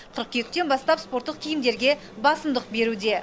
қыркүйектен бастап спорттық киімдерге басымдық беруде